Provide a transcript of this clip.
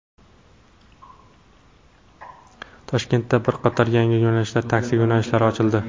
Toshkentda bir qator yangi yo‘nalishli taksi yo‘nalishlari ochildi.